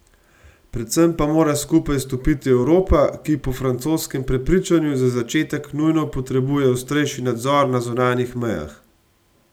Predvsem pa mora skupaj stopiti Evropa, ki po francoskem prepričanju za začetek nujno potrebuje ostrejši nadzor na zunanjih mejah.